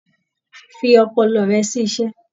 Fi ọpọlọ rẹ sí iṣẹ́